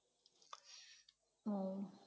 উহ